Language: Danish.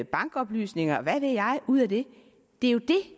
bankoplysninger og hvad ved jeg ud det er det